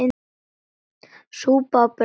Súpa og brauð.